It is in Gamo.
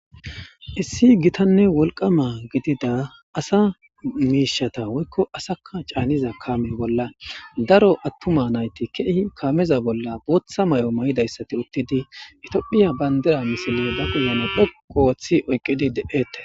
Issi giththanne wolqqama gididda asa mishshaththa woyikko c'anizza kame bollan c'ora atumma nayththi kameza bollan boththa mayo mayidi uththidi tophphiya banidire dhoqqu oththidi oyikidi de'etes.